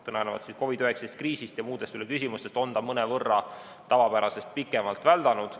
Tulenevalt COVID-19 kriisist ja muudest küsimustest on see tavapärasest mõnevõrra pikemalt väldanud.